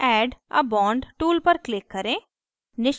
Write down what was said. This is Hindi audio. add a bond tool पर click करें